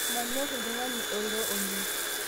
Manyor ltung'ani eiro oleng